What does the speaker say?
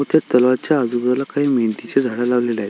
व त्या तलावाच्या आजूबाजूला काही मेनथीचे झाड लावलेले आहेत.